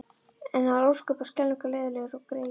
En hann var ósköp og skelfing leiðinlegur greyið.